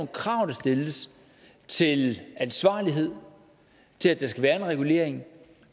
krav der stilles til ansvarlighed til at der skal være en regulering